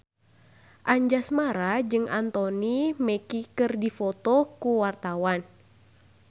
Anjasmara jeung Anthony Mackie keur dipoto ku wartawan